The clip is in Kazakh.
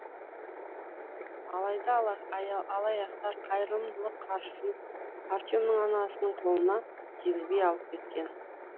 алайда алаяқтар қайырымдылық қаржысын артемнің анасының қолына тигізбей алып кеткен